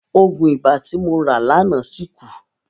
Òògùn ibà tí mo rà láàná ṣì kù.